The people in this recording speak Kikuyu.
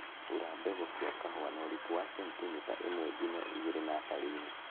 Hura mbegũ cia kahũa na ũriku wa sentimita ĩmwe nginya igĩrĩ natharĩiinĩ